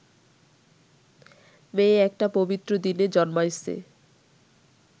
মেয়ে একটা পবিত্র দিনে জন্মাইছে